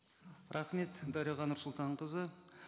рахмет дариға нұрсұлтанқызы